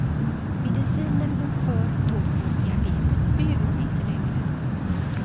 Medicinen hon förr tog mot diabetes behöver hon inte längre.